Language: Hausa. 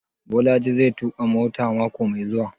Bolaji zai tuƙa mota mako mai zuwa?